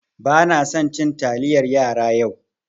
Banasan cin taliyar yara yau.